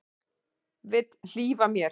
Vill hlífa mér.